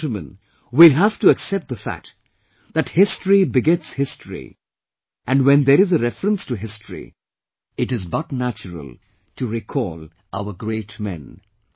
My dear countrymen, we will have to accept the fact that history begets history and when there is a reference to history, it is but natural to recall our great men